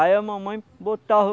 Aí a mamãe botava